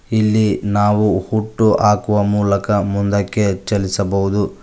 ಇಲ್ಲಿ ನಾವು ಹುಟ್ಟು ಆಕುವ ಮೂಲಕ ಮುಂದಕ್ಕೆ ಚಲಿಸಬಹುದು.